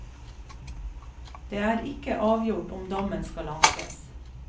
Det er ikke avgjort om dommen skal ankes.